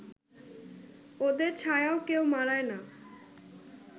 ওদের ছায়াও কেউ মাড়ায় না